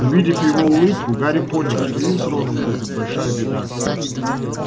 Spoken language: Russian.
увидев его улыбку гарри понял что им с роном грозит большая беда